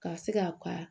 Ka se ka ka